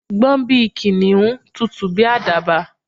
Gbọ́n bíi Kìnìún! Tutù bíi àdàbà